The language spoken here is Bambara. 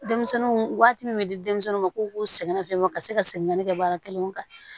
Denmisɛnninw waati min di denmisɛnnuw ma k'u k'u sɛgɛn nafiɲɛbɔ ka se ka segin ka na ne ka baara kɛlen kan